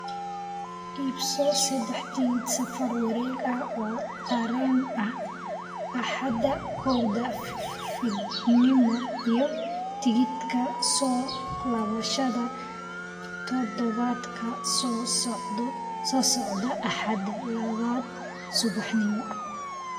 iibso saddex tikidh safar wareeg ah oo tareen ah Axadda kowda fiidnimo iyo tigidhka soo laabashada toddobaadka soo socda Axadda labada subaxnimo